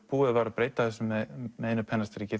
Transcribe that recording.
búið var að breyta þessu með einu pennastriki